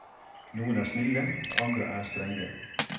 Noen er snille, andre strenge.